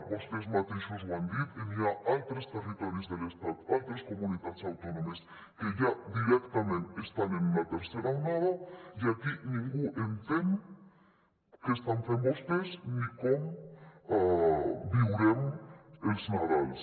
vostès mateixos ho han dit n’hi ha altres territoris de l’estat altres comunitats autònomes que ja directament estan en una tercera onada i aquí ningú entén què estan fent vostès ni com viurem els nadals